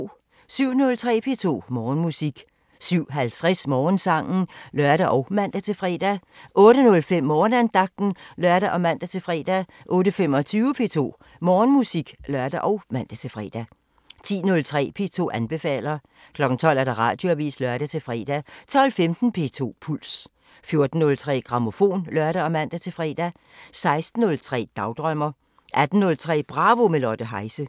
07:03: P2 Morgenmusik 07:50: Morgensangen (lør og man-fre) 08:05: Morgenandagten (lør og man-fre) 08:25: P2 Morgenmusik (lør og man-fre) 10:03: P2 anbefaler 12:00: Radioavisen (lør-fre) 12:15: P2 Puls 14:03: Grammofon (lør og man-fre) 16:03: Dagdrømmer 18:03: Bravo – med Lotte Heise